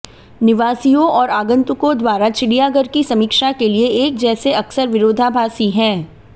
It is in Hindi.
निवासियों और आगंतुकों द्वारा चिड़ियाघर की समीक्षा के लिए एक जैसे अक्सर विरोधाभासी हैं